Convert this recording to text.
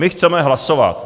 My chceme hlasovat.